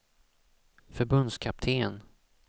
förbundskapten